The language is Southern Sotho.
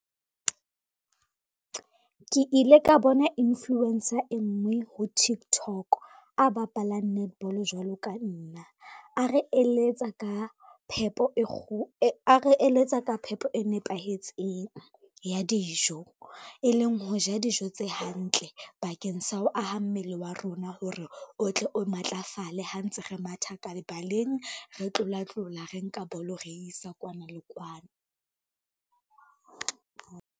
Ke ile ka bo influencer e ngwe ho Tiktok, a bapalang netball jwalo ka nna. A re eletsa ka phepo e nepahetseng ya dijo, e leng ho ja dijo tse hantle bakeng sa ho aha mmele wa rona hore, o tle o matlafale ha ntse re matha ka lebaleng, re tlolatlola, re nka bolo re isa kwana le kwana.